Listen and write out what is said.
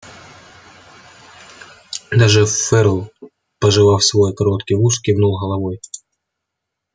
даже ферл пожевав свой короткий ус кивнул головой